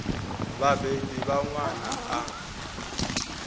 vha vhabebi vha ṅwana a